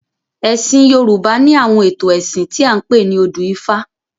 Ẹ̀sìn Yorùbá ni àwọn ètò ẹ̀sìn tí a ń pè ní odù ifá.